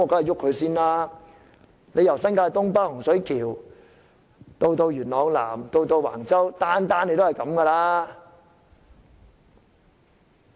由新界東北洪水橋到元朗南和橫洲，也是用同樣方法處理。